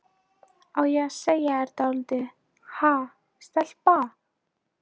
Á ég að segja þér dálítið, ha, stelpa?